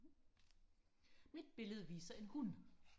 mit billede viser en hund